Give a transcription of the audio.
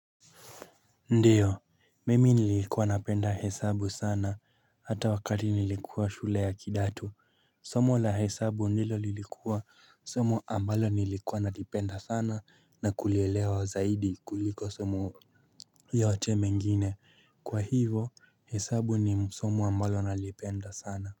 Ndiyo, mimi nilikuwa napenda hesabu sana, hata wakati nilikuwa shule ya kidato, somo la hesabu ndilo lilikuwa, somo ambalo nilikuwa nalipenda sana na kulielewa zaidi kuliko somo yote mengine, kwa hivo hesabu ni somo ambalo nalipenda sana.